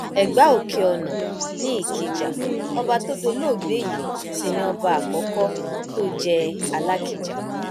ẹgbà òkèọnà ni ìkìjà ọba tó dolóògbé yìí sì ni ọba àkọkọ tó jẹ alákija